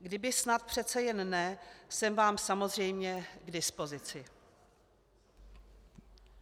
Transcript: Kdyby snad přece jen ne, jsem vám samozřejmě k dispozici.